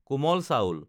কোমল চাউল